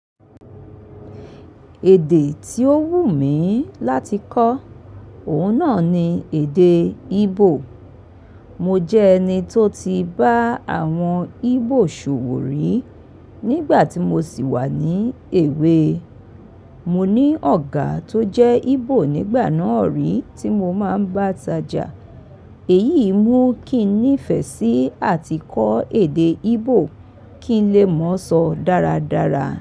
Èdè tí ó wùn mí láti kọ́, òun náà ni èdeè Íbò. Mo jẹ́ ẹni tó ti bá àwọn Íbò ṣòwò rí nígbà tí mo ṣì wà ní èwe. Mo ní ọ̀gá tó jẹ́ Íbò nígbà náà rí tí mo máa ń bá tajà. Èyíi mú kí n nífẹ̀ẹ́ sí àti kọ́ èdè Íbò kí n lè mọo sọ dáradára.